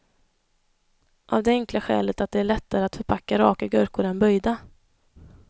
Av det enkla skälet att det är lättare att förpacka raka gurkor än böjda.